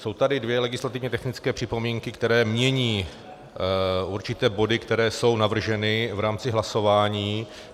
Jsou tady dvě legislativně technické připomínky, které mění určité body, které jsou navrženy v rámci hlasování.